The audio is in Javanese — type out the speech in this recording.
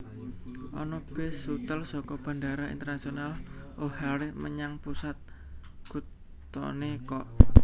Ono bis shuttle soko Bandara Internasional O'Hare menyang pusat kutone kok